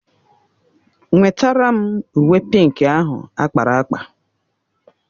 Nwetara m uwe pịnkị ahụ akpara akpa!